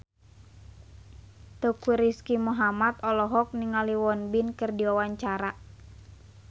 Teuku Rizky Muhammad olohok ningali Won Bin keur diwawancara